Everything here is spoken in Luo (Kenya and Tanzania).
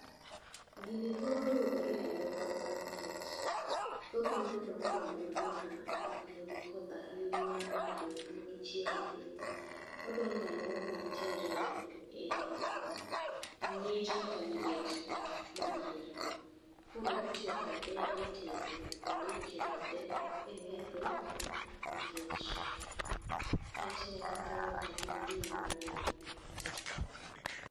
Gini thoro yudore e alworawa, nikech thothne odonge alwora ma oknigi koth ahinya, to be oknigi chieng' ahinya. Odonge alwora ma ntiere e ngích kata liet madiere. Koro itiyo kode e tedo bende itiyo kode e metho, nikech, kechne kata iwacho ni ndim manie iye.